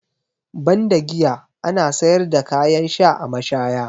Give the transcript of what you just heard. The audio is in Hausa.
Banda giya, ana sayar da kayan sha a mashaya.